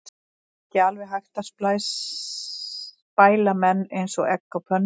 Er ekki alveg eins hægt að spæla menn eins og egg á pönnu?